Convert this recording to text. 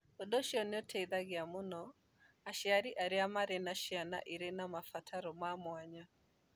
Ũndũ ũcio nĩ ũteithagia mũno aciari arĩa marĩ na ciana irĩ na mabataro ma mwanya.